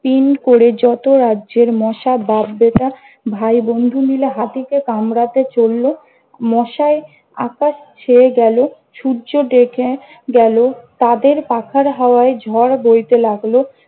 তিন করে যত রাজ্যের মশা বাপ-বেটা, ভাই-বন্ধু মিলে হাতি কে কামরাতে চলল। মশায় আকাশ ছেয়ে গেল। সূর্য ঢেকে গেল। তাদের পাখার হাওয়ায় ঝড় বইতে লাগল।